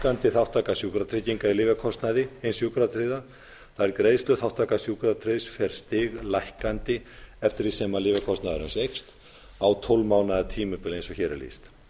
við stighækkandi þátttaka sjúkratrygginga í lyfjakostnaði hins sjúkratryggða það er greiðsluþátttaka sjúkratryggðs fer stiglækkandi eftir því sem lyfjakostnaður hans eins á tólf mánaða tímabili eins og hér er lýst